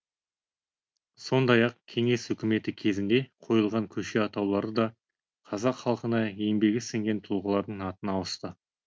сондай ақ кеңес үкіметі кезінде қойылған көше атаулары да қазақ халқына еңбегі сіңген тұлғалардың атына ауысты